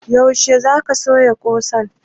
Yaushe za ka sayo ƙusan?